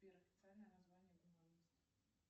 сбер официальное название гуманность